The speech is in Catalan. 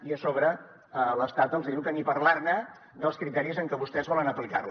i a sobre l’estat els hi diu que ni parlar ne dels criteris amb què vostès volen aplicar la